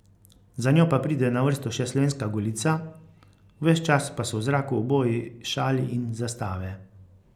Za njo pa pride na vrsto še slovenska Golica, ves čas pa so v zraku oboji šali in zastave.